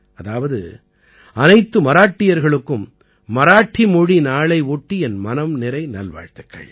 அதாவது அனைத்து மராட்டியர்களுக்கும் மராத்தி மொழி நாளை ஒட்டி என் மனம்நிறை நல்வாழ்த்துக்கள்